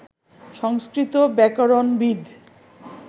সংস্কৃত ব্যাকরণবিদ